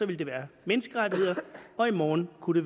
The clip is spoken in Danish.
vil det være menneskerettigheder og i morgen kunne